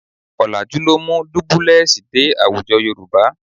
Ọ̀làjú ló mú dúbúlẹ́ẹ̀sì dé àwùjọ Yorùbá